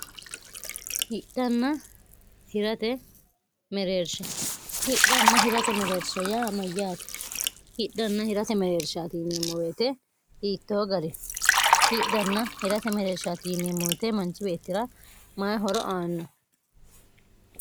ehidhanna hirate mereershe yaa mayyaati hidhanna hirate mereersht immowte hiittoo gari hidhanna hirate mereershti iemmowete manchi beettira mayi horo aanno